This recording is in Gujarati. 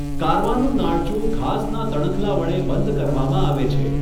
કારવાનું નાળચું ઘાસનાં તણખલાં વડે બંધ કરવામાં આવે છે.